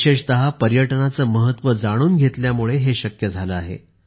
विशेषतः पर्यटनाचे महत्त्व जाणून घेतल्यामुळे हे शक्य झाले आहे